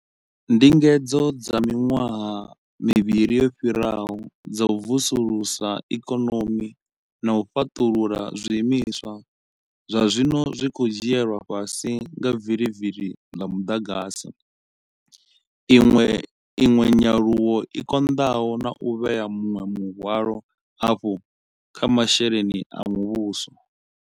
Ndingedzo dza miṅwaha mivhili yo fhiraho dza u vusulusa ikonomi na u fhaṱulula zwiimiswa zwazwino zwi khou dzhielwa fhasi nga vilivili ḽa muḓagasi, iṅwe nyaluwo i konḓaho na u vhea muṅwe muhwalo hafhu kha masheleni a muvhuso.